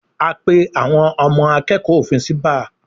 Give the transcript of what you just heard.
A pé àwọn ọmọ akẹ́kọ̀ọ́ òfin sí báà